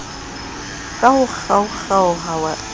ka ho kgaokgaoha le ka